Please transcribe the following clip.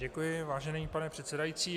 Děkuji, vážený pane předsedající.